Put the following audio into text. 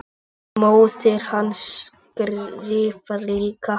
Móðir hans skrifar líka.